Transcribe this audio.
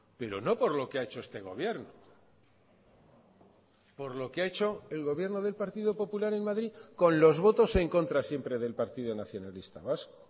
pero no por lo que ha hecho este gobierno por lo que ha hecho el gobierno del partido popular en madrid con los votos en contra siempre del partido nacionalista vasco